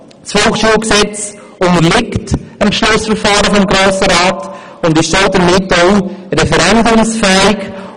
Das Volksschulgesetz unterliegt dem Beschlussverfahren des Grossen Rats und ist damit auch referendumsfähig.